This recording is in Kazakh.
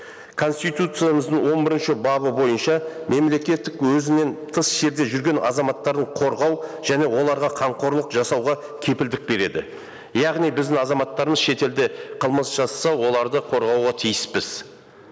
конституциямыздың он бірінші бабы бойынша мемлекеттік өзінен тыс жерде жүрген азаматтарын қорғау және оларға қамқорлық жасауға кепілдік береді яғни біздің азаматтарымыз шетелде қылмыс жасаса оларды қорғауға тиіспіз